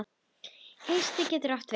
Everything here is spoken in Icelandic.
Hyski getur átt við